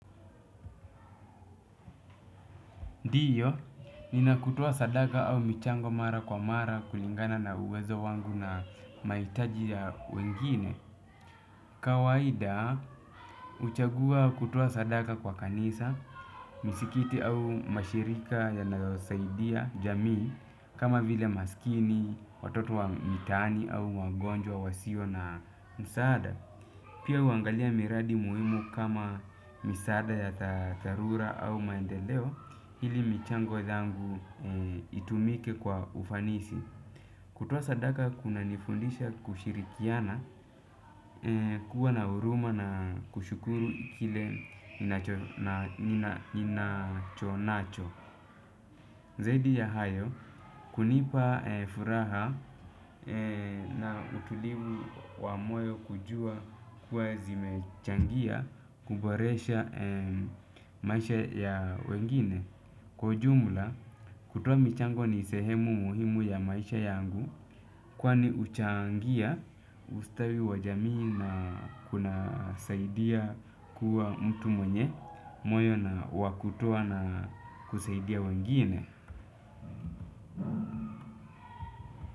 Ndiyo, ninakutoa sadaka au michango mara kwa mara kulingana na uwezo wangu na mahitaji ya wengine. Kawaida, huchagua kutoa sadaka kwa kanisa, misikiti au mashirika yanayosaidia, jamii, kama vile maskini, watoto wa mitaani au wagonjwa, wasio na msaada. Pia huangalia miradi muhimu kama misaada ya dha dharura au maendeleo ili michango yangu itumike kwa ufanisi. Kutoa sadaka kunanifundisha kushirikiana kuwa na huruma na kushukuru kile ninacho na nina ninachonacho. Zaidi ya hayo, kunipa furaha na utulivu wa moyo kujua kuwa zimechangia kuboresha maisha ya wengine. Kwa ujumla, kutoa michango ni sehemu muhimu ya maisha yangu, kwani huchangia ustawi wa jamii na kunasaidia kuwa mtu mwenye, moyo na wakutoa na kusaidia wengine.